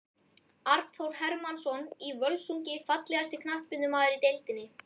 Arnþór Hermannsson í Völsungi Fallegasti knattspyrnumaðurinn í deildinni?